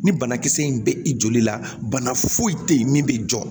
Ni banakisɛ in bɛ i joli la bana foyi tɛ yen min bɛ jɔ